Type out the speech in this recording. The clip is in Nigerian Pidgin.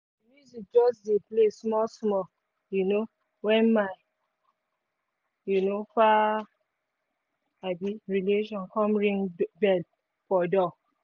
the music just dey play small small um when my um far um relation come ring bell for door